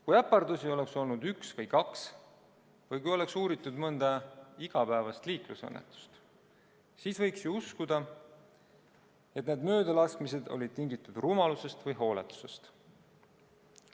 Kui äpardusi oleks olnud üks või kaks või kui oleks uuritud mõnda igapäevast liiklusõnnetust, siis võiks ju uskuda, et need möödalaskmised olid tingitud rumalusest või hooletusest.